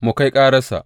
Mu kai kararsa!